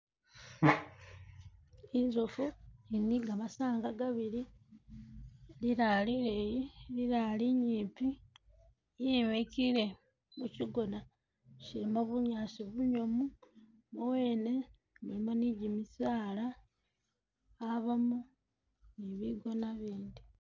Inzofu ili ni gamasanga gabili lilala lileyi lilala linyipi yimikile mukyigona kyilimo bunyaasi bunyomu muwene mulimo ni gimisaala habamo ni bigoona bindi.